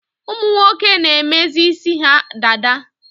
Ụmụnwoke na-emezi isi ha dada